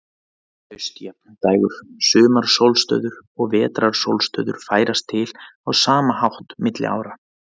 Haustjafndægur, sumarsólstöður og vetrarsólstöður færast til á sama hátt milli ára.